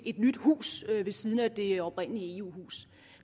nyt hus ved siden af det oprindelige eu hus